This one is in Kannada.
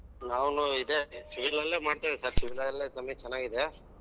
ನಾನು ಇದೆ civil ಲಲ್ಲೇ ಮಾಡ್ತಾ ಇದಿನಿ ಜಾಸ್ತಿ civil ಅಲ್ಲೇ income ಚನ್ನಾಗಿದೆ.